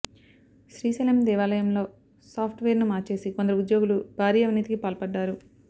శ్రీశైలం దేవాలయంలో software ను మార్చేసి కొందరు ఉద్యోగులు భారీ అవినీతికి పాల్పడ్డారు